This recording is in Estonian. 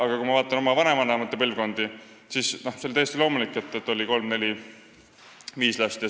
Aga kui ma vaatan oma vanavanemate põlvkondi, siis tollal oli täiesti loomulik, et peres oli kolm, neli või viis last.